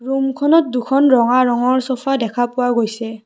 ৰূমখনত দুখন ৰঙা ৰঙৰ চফা দেখা পোৱা গৈছে।